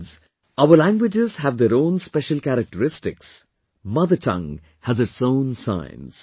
Friends, our languages have their own special characteristics; mother tongue has its own science